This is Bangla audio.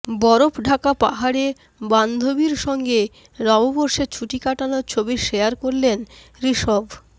বরফঢাকা পাহাড়ে বান্ধবীর সঙ্গে নববর্ষে ছুটি কাটানোর ছবি শেয়ার করলেন ঋষভ